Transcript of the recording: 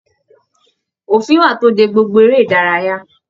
Òfin wà to dé gbogbo eré ìdárayá.